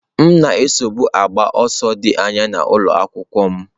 M na-esobu na-agba ọsọ dị anya n'ụlọ akwụkwọ m.